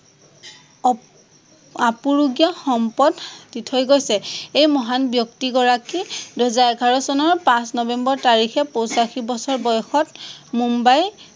অপ আপুৰুগীযা সম্পদ দি থৈ গৈছে। এই মাহন ব্যক্তিগৰাকী দুহেজাৰ এঘাৰ চনৰ পাঁচ নৱেম্বৰ তাৰিখে পঁচাশী বছৰ বয়সত মুম্বাইৰ